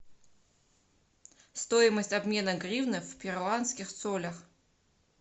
стоимость обмена гривны в перуанских солях